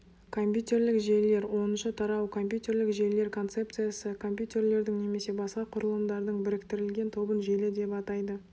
компьютерлік желілер оныншы тарау компьютерлік желілер концепциясы компьютерлердің немесе басқа құрылымдардың біріктірілген тобын желі деп атайды